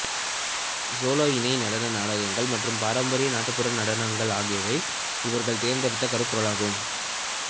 solo இணை நடன நாடகங்கள் மற்றும் பாரம்பரிய நாட்டுப்புற நடனங்கள் ஆகியவை இவர்கள் தேர்ந்தெடுத்த கருப்பொருள்கள் ஆகும்